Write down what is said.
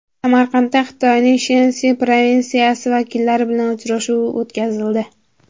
Samarqandda Xitoyning Shensi provinsiyasi vakillari bilan uchrashuv o‘tkazildi.